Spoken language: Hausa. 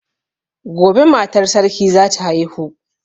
Gobe matar sarki zata haihu